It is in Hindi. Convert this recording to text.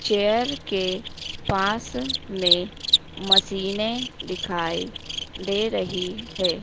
चेयर के पास में मशीने दिखाई दे रही है।